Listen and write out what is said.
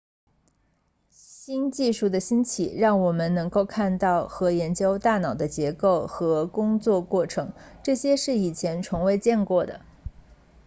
新技术的兴起让我们能够看到和研究大脑的结构和工作过程这些是以前从未见过的